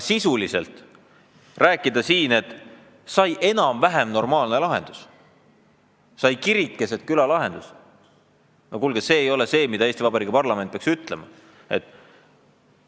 Sisuliselt rääkida siin, et sai enam-vähem normaalne lahendus, sai kirik keset küla lahendus – no kuulge, see ei ole see, mida Eesti parlament peaks ütlema!